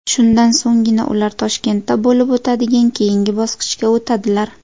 Shundan so‘nggina ular Toshkentda bo‘lib o‘tadigan keyingi bosqichga o‘tadilar.